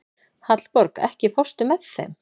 Hallborg, ekki fórstu með þeim?